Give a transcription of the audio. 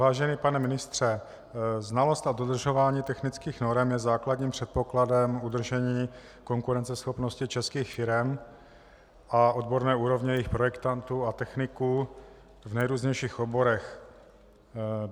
Vážený pane ministře, znalost a dodržování technických norem je základním předpokladem udržení konkurenceschopnosti českých firem a odborné úrovně jejich projektantů a techniků v nejrůznějších oborech.